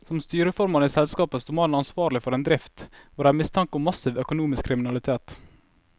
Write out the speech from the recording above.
Som styreformann i selskapet sto mannen ansvarlig for en drift hvor det er mistanke om massiv økonomisk kriminalitet.